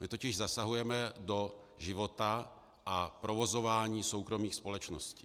My totiž zasahujeme do života a provozování soukromých společností.